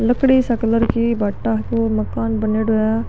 लकड़ी सी कलर की बाटा को मकान बनेड़ा है।